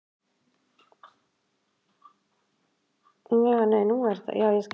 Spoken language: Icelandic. Þýskir flugvellir opnast aftur